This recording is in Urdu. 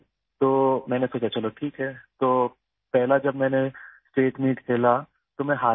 تو میں نے سوچا ٹھیک ہے، تو پہلی بار جب میں نے اسٹیٹ میٹ کھیلا، میں اس میں ہار گیا